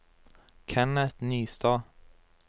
Kenneth Nystad